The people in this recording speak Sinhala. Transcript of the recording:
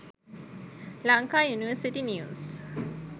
lanka university news